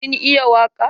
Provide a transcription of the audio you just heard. Kin iya waƙa?